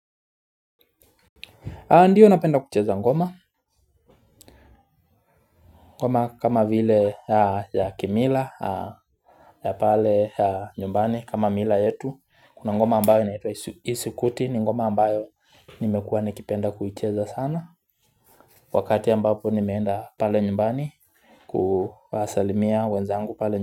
Ndio napenda kucheza ngoma. Ngoma kama vile ya kimila. Ya pale ya nyumbani kama mila yetu. Kuna ngoma ambayo isikuti ni ngoma ambayo nimekuwa nikipenda kuicheza sana. Wakati ambapo nimeenda pale nyumbani kuwasalimia wenzangu pale.